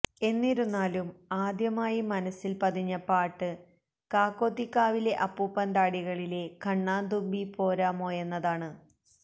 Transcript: എന്നിരുന്നാലും ആദ്യമായി മനസ്സില് പതിഞ്ഞ പാട്ട് കാക്കോത്തിക്കാവിലെ അപ്പൂപ്പന്താടികളിലെ കണ്ണാംതുമ്പീ പോരാമോയെന്നതാണ്